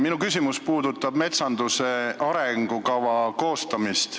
Minu küsimus puudutab metsanduse arengukava koostamist.